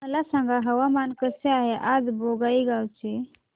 मला सांगा हवामान कसे आहे आज बोंगाईगांव चे